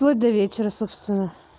вплоть до вечера собственно